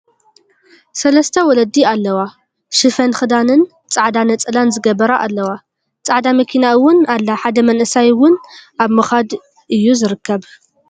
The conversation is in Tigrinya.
ሰለስተ ወለዲ ኣለዋ ሽፈን ክዳንን ፃዕዳ ነፀላን ዝግበረ ኣለዋ። ፃዕዳ መኪና እውን ኣላ ሓደ መንእሰይ እውን ኣብ ምካድ እዩ ዝርከብ።